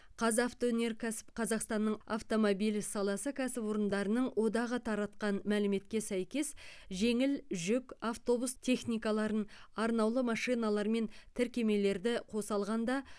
қазавтоөнеркәсіп қазақстанның автомобиль саласы кәсіпорындарының одағы таратқан мәліметке сәйкес жеңіл жүк автобус техникаларын арнаулы машиналар мен тіркемелерді қоса алғанда